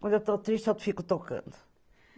Quando eu estou triste, eu fico tocando.